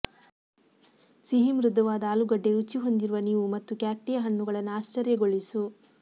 ಸಿಹಿ ಮೃದುವಾದ ಆಲೂಗಡ್ಡೆ ರುಚಿ ಹೊಂದಿರುವ ನೀವು ಮತ್ತು ಕ್ಯಾಕ್ಟಿಯ ಹಣ್ಣುಗಳನ್ನು ಆಶ್ಚರ್ಯಗೊಳಿಸು